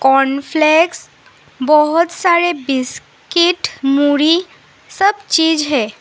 Cornflakes बहुत सारे biscuit मूरी सब चीज है।